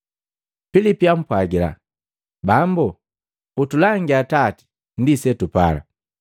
Pilipi ampwagila, “Bambu, utulangia Atati ndi setupala.”